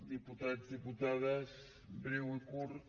diputats diputades breu i curt